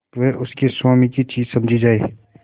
वह उसके स्वामी की चीज समझी जाए